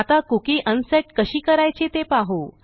आता cookie unset कशी करायची ते पाहू